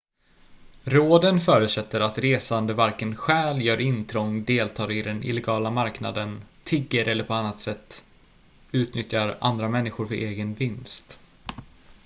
råden förutsätter att resande varken stjäl gör intrång deltar i den illegala marknaden tigger eller på andra sätt utnyttjar andra människor för egen vinst